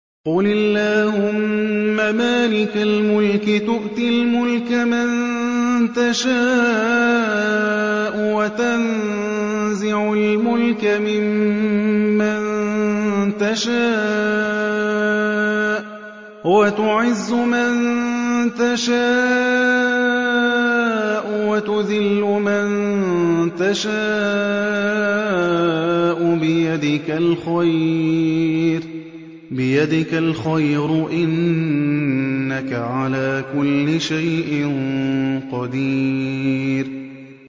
قُلِ اللَّهُمَّ مَالِكَ الْمُلْكِ تُؤْتِي الْمُلْكَ مَن تَشَاءُ وَتَنزِعُ الْمُلْكَ مِمَّن تَشَاءُ وَتُعِزُّ مَن تَشَاءُ وَتُذِلُّ مَن تَشَاءُ ۖ بِيَدِكَ الْخَيْرُ ۖ إِنَّكَ عَلَىٰ كُلِّ شَيْءٍ قَدِيرٌ